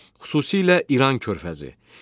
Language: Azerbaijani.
Xüsusilə İran körfəzi.